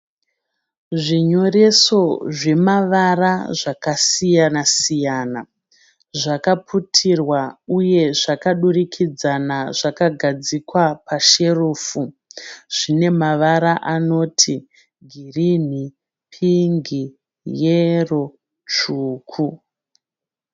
Zvinyoreso zvema vara zvakasiyana siyana. Zvakaputirwa uye zvaka durikidzana zvakagadzikwa pasherefu. Zvine mavara anoti, girinhi, pingi, yero, tsvuku.